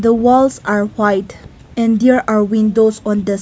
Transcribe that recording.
walls are white and there are windows on the si--